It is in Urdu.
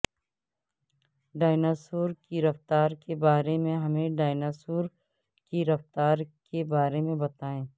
ڈایناسور کی رفتار کے بارے میں ہمیں ڈایناسور کی رفتار کے بارے میں بتائیں